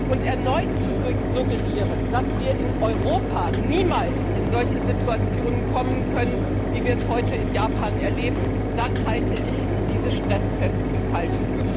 und erneut zu suggerieren, dass wir in Europa niemals in solche Situationen geraten können, wie wir es heute in Japan erleben, dann halte ich diese Stresstests für falsch.